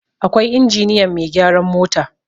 akwai injiniyan Mai gyaran mota